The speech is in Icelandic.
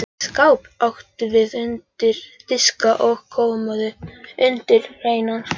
Skáp áttum við undir diska og kommóðu undir hreinan þvott.